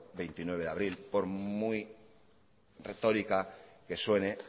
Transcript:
veintinueve de abril por muy retórica que suene